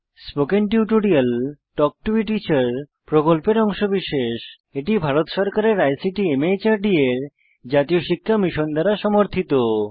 spoken tutorial talk to a teacher প্রকল্পের অংশবিশেষ এটি ভারত সরকারের আইসিটি মাহর্দ এর জাতীয় শিক্ষা মিশন দ্বারা সমর্থিত